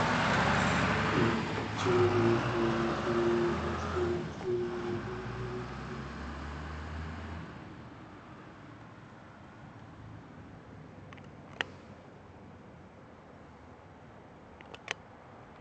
እጅግ በጣም ብርቱካንማ ቢጫ የሆኑ ሦስት ዓይነት ደረቅ ፓስታዎች ተቀላቅለዋል። በብዛት የተቆለሉት የተጠማዘዙ ማካሮኒዎች መሃል ይገኛሉ። ረዣዥም ስፓጌቲዎች በግራ እና በቀኝ በኩል አሉ። ይህ ፓስታ ለመዘጋጀት ምን ያህል ደቂቃዎች ይወስዳል?